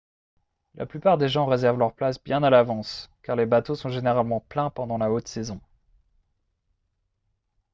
la plupart des gens réservent leur place bien à l’avance car les bateaux sont généralement pleins pendant la haute saison